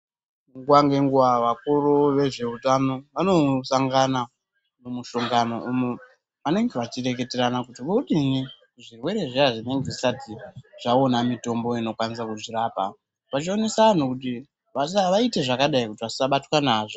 Nguwa ngenguwa vakuru vezveutano vanosangana mumushongano umo vanenge vachireketerana kuti vodini zvirwere zviya zvinenge zvisati zvaona mitombo inokwanisa kuzvirapa vachionesa vanhu kuti vasaite zvekubatwa nazvo.